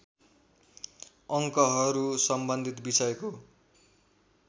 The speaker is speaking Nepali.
अङ्कहरू सम्बन्धित विषयको